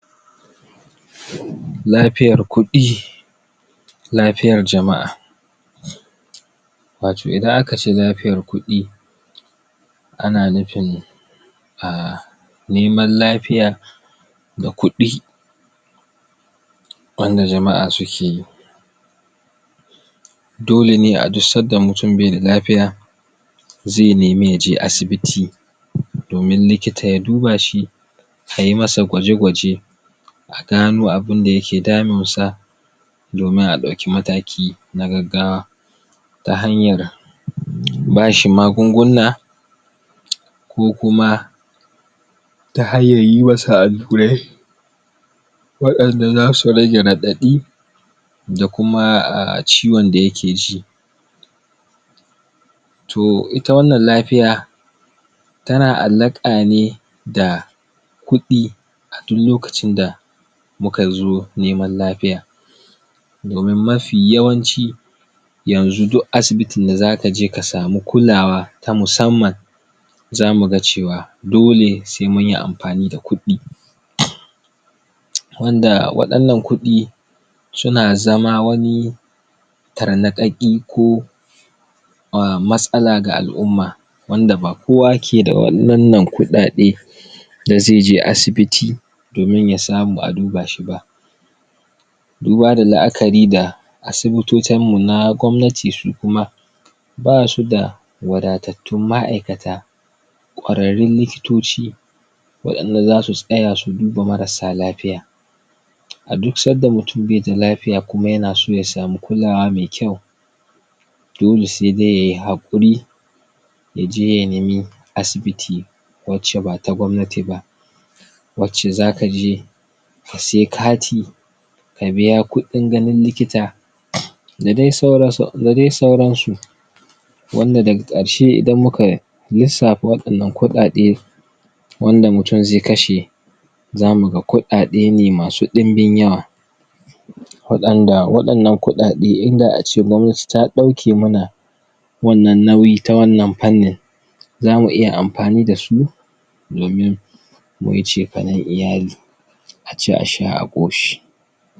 lafiyar kudi lafiyar jama'a watau idan aka ce lafiyar kudi ana nufin a neman lafiya da kudi wanda jama'a su ke yi dole ne a duk san da mutum bai da lafiya zai nemi ya je asibiti domin likita ya duba shi ka yi ma sa gwaje gwaje a gano abin da ya ke damin sa domin a dauki mataki na gaggawa ta hanyar ba shi magunguna ko kuma ta hanyar yi ma sa alurai wadanda zasu rage? da kuma a ciwon da ya ke ji toh ita wannan lafiya ta na alaka ne da kudi duk lokacin da mu ka zo neman lafiya domin mafiyawanci yanzu duk asibitin da za ka je ka samu kulawa ta musamman za mu ga cewa dole sai mun yi amfanida kudi wanda masala kudi su na zama wani? ko a masala ga al'uma wanda ba kowa ke da walalan kudade da ze je asibiti domin ya samu a duba shi ba duba da la'akari da asibitocin mu na gomanati su kuma ba su da wada'atatun ma aikata kwararin likitoci wadanda za su saya su duba marasa lafiya a duk sadda mutum bai da lafiya kuma ya na so ya samu kulawa mai kyau dole sai dai ya yi hakuri yaj e ya nemi asibiti wace ba ta gomnati ba wace za ka je ka sayi kati ka biya kudin ganin likita da dai sauran su wan da daga karshe idan muka lissafa wadannan kudade wanda mutum zai kashe zamu ga kudade ne masu dinbin yawa wadanda wadanan kudade in da a ce gomnati ta dauke mana wannan nauyi ta wannan panni zamu iya amfani da su domin mu yi cefane iyali a ci a sha a koshi